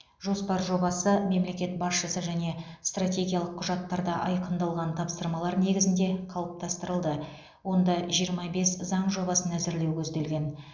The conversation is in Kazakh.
жоспар жобасы мемлекет басшысы және стратегиялық құжаттарда айқындалған тапсырмалар негізінде қалыптастырылды онда жиырма бес заң жобасын әзірлеу көзделген